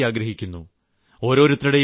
കുട്ടികളുടെ നല്ല ഭാവി ആഗ്രഹിക്കുന്നു